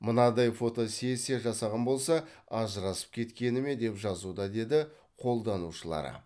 мынадай фотосессия жасаған болса ажырасып кеткені ме деп жазуда деді қолданушылары